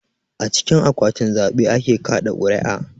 A cikin akwatin zaɓe ake kaɗa ƙuri'a